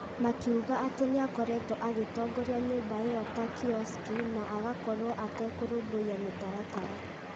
makiuga atĩ akoretwo agĩtongoria Nyũmba ĩyo ta "kiosk" na agakorwo atekũrũmbũia mĩtaratara.